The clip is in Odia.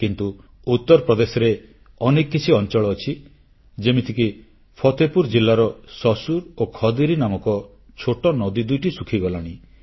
କିନ୍ତୁ ଉତ୍ତରପ୍ରଦେଶରେ ଅନ୍ୟ କିଛି ଅଂଚଳ ଅଛି ଯେମିତିକି ପତେପୁରୁ ଜିଲାର ଶସୁର ଓ ଖଦେରୀ ନାମକ ଛୋଟ ନଦୀ ଦୁଇଟି ଶୁଖିଗଲାଣି